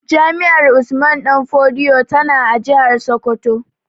Jami'ar Usman danfodiyo tana a jihar Sokoto